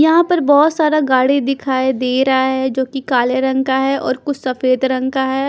यहाँ पर बहोत सारा गाड़ी दीखाई दे रहा है जो कि काले रंग का है और कुछ सफेद रंग का है।